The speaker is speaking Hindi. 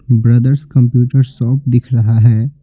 ब्रदर्स कंप्यूटर शॉप दिख रहा है।